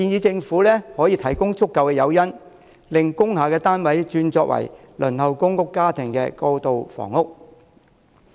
政府應提供足夠誘因，令工廈單位轉作輪候公屋家庭的過渡性房屋。